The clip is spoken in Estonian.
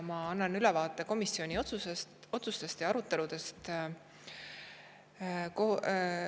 Mina annan ülevaate komisjonis toimunud arutelust ja komisjonis otsustest.